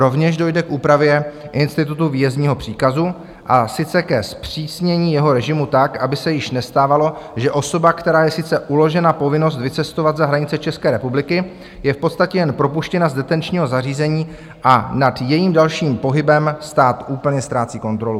Rovněž dojde k úpravě institutu výjezdního příkazu, a sice ke zpřísnění jeho režimu tak, aby se již nestávalo, že osoba, které je sice uložena povinnost vycestovat za hranice České republiky, je v podstatě jen propuštěna z detenčního zařízení a nad jejím dalším pohybem stát úplně ztrácí kontrolu.